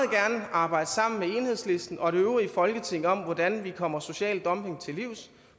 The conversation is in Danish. arbejde sammen med enhedslisten og det øvrige folketing om hvordan vi kommer social dumping til livs